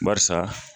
Barisa